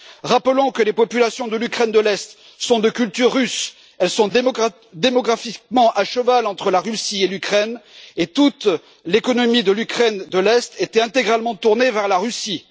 Rappelons que les populations de l'Ukraine de l'Est sont de culture russe, elles sont démographiquement à cheval entre la Russie et l'Ukraine, et toute l'économie de l'Ukraine de l'Est était intégralement tournée vers la Russie.